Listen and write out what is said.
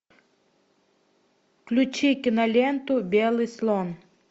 включи киноленту белый слон